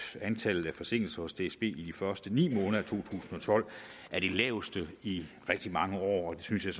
antallet af forsinkelser hos dsb i de første ni måneder tusind og tolv er det laveste i rigtig mange år og det synes jeg